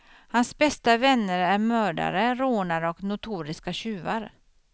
Hans bästa vänner är mördare, rånare och notoriska tjuvar.